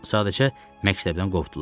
Sadəcə məktəbdən qovdular.